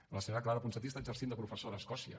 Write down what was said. la senyora clara ponsatí està exercint de professora a escòcia